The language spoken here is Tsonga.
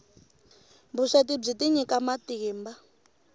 vusweti byi tinyika matimba